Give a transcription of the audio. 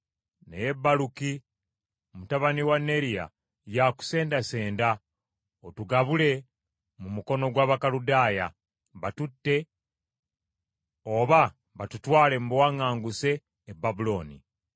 Naye Baluki mutabani wa Neriya y’akusendasenda otugabule mu mukono gw’Abakaludaaya, batutte oba batutwale mu buwaŋŋanguse e Babulooni.”